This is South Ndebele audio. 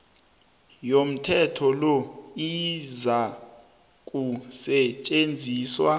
yomthetho lo izakusetjenziswa